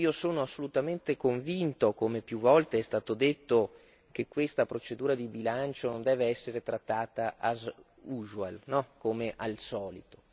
Sono assolutamente convinto, come più volte è stato detto, che questa procedura di bilancio non deve essere trattata, as usual come al solito